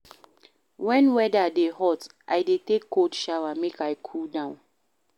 Wen weather dey hot, I dey take cold shower, make I cool down.